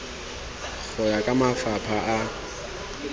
go ya ka mafapha a